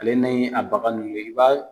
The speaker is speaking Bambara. Ale ni a bagan i ba